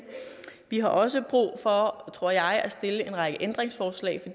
vi har også brug for tror jeg at stille en række ændringsforslag